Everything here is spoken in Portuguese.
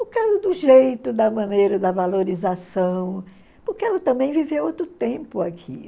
por causa do jeito, da maneira, da valorização, porque ela também viveu outro tempo aqui.